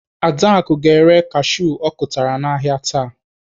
Adaku ga-ere kashiu ọ kụtara n'ahịa taa.